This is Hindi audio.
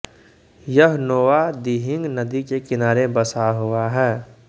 यह नोआ दिहिंग नदी के किनारे बसा हुआ है